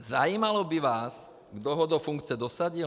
Zajímalo by vás, kdo ho do funkce dosadil?